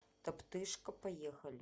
топтыжка поехали